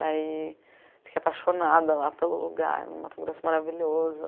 Daí fiquei apaixonada lá pelo lugar, no Mato Grosso, maravilhoso.